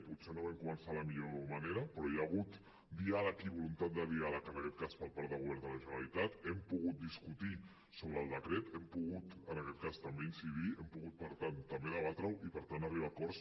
potser no vam començar de la millor manera però hi ha hagut diàleg i voluntat de diàleg en aquest cas per part del govern de la generalitat hem pogut discutir sobre el decret hem pogut en aquest cas també incidir hi hem pogut per tant també debatre ho i per tant arribar a acords